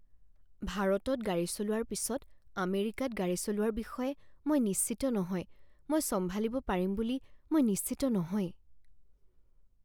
ভাৰতত গাড়ী চলোৱাৰ পিছত আমেৰিকাত গাড়ী চলোৱাৰ বিষয়ে মই নিশ্চিত নহয়। মই চম্ভালিব পাৰিম বুলি মই নিশ্চিত নহয়।